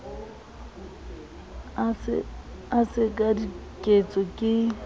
e se ka diketso ke